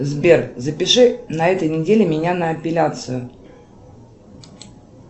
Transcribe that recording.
сбер запиши на этой неделе меня на эпиляцию